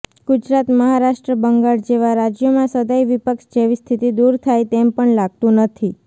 ગુજરાત મહારાષ્ટ્ર બંગાળ જેવા રાજ્યોમાં સદાય વિપક્ષ જેવી સ્થિતિ દૂર થાય તેમ પણ લાગતું નથી